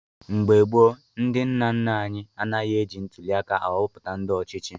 Mgbe gboo, ndị nna nna anyị anaghị eji ntuliaka ahọpụta ndị ọchịchị.